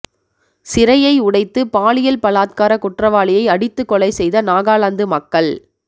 சிறையை உடைத்து பாலியல் பலாத்கார குற்றவாளியை அடித்துக் கொலை செய்த நாகாலாந்து மக்கள்